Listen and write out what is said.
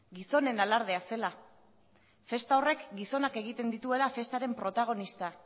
gizonen alardea zela festa horrek gizonak egiten dituela festaren protagonista